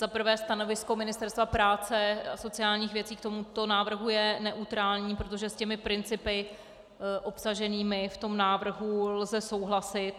Za prvé stanovisko Ministerstva práce a sociálních věcí k tomuto návrhu je neutrální, protože s těmi principy obsaženými v tom návrhu lze souhlasit.